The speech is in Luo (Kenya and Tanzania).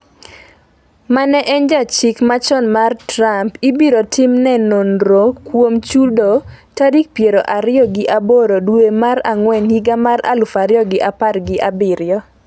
mane en jachik machon mar Trump ibiro timo ne nonro kuom chudo tarik piero ariyo gi aboro dwe mar ang'wen higa mar aluf ariyo gi apar gi abiriyo